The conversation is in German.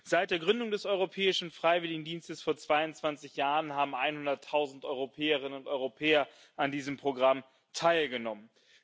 Seit der Gründung des Europäischen Freiwilligendienstes vor 22 Jahren haben einhunderttausend Europäerinnen und Europäer an diesem Programm teilgenommen.